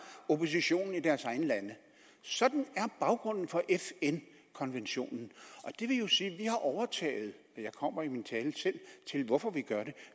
oppositionen i deres egne lande sådan er baggrunden for fn konventionen det vil jo sige at vi har overtaget jeg kommer i min tale selv til hvorfor